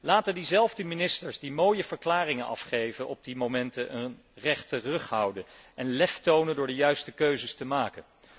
Laten diezelfde ministers die mooie verklaringen afgeven, op die momenten een rechte rug houden en lef tonen door de juiste keuzes te maken.